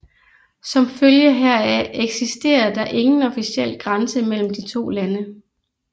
Som følge heraf eksisterer der ingen officiel grænse mellem de to lande